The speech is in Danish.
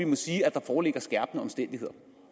foreligger der skærpende omstændigheder